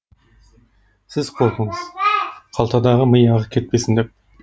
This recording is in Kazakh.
сіз қорқыңыз қалтадағы ми ағып кетпесін деп